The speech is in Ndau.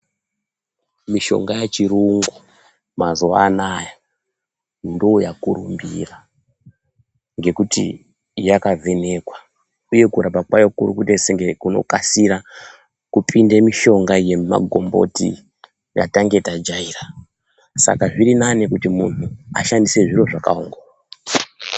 Mishonga ye chirungu mazuva anaya ndo yakurumbira ngekuti yaka vhenekwa uye kurapa kwayo kuri kuita senge kuno kasira kupinde mishonga ye makomboti yatanga ta jaira saka zviri nane kuti munhu ashandise zviro zvakango.